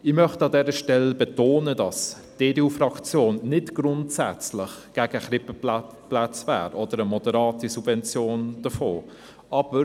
Ich möchte an dieser Stelle betonen, dass die EDU-Fraktion nicht grundsätzlich gegen Krippenplätze oder gegen eine moderate Subvention davon wäre.